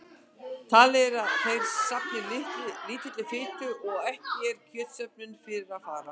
Talið er að þær safni lítilli fitu og ekki er kjötsöfnun fyrir að fara.